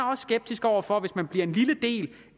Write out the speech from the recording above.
også skeptisk over for om man hvis man bliver en lille del